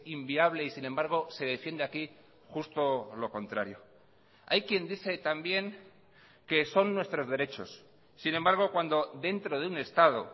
inviable y sin embargo se defiende aquí justo lo contrario hay quien dice también que son nuestros derechos sin embargo cuando dentro de un estado